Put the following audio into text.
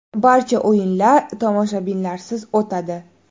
Barcha o‘yinlar tomoshabinlarsiz o‘tadi.